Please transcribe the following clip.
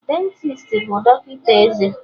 Dentisti bụ dọkịta eze